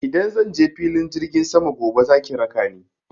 Idan zan je filin jirgin sama gobe za ki raka ni.